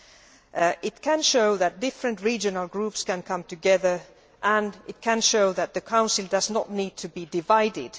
They can show that different regional groups can come together and they can show that the Council does not need to be divided.